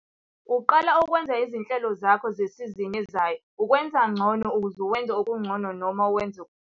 Uqala ukwenza izinhlelo zakho zesizini ezayo, ukwenza ngcono ukuze wenze okungcono noma wenze okukhulu.